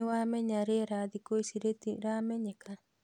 Nĩwamenya thikũ ici rĩera rĩtiramenyeka